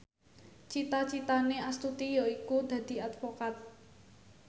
cita citane Astuti yaiku dadi advokat